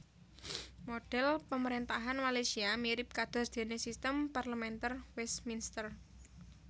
Modhel pemarentahan Malaysia mirip kados dene sistem parlementer Westminster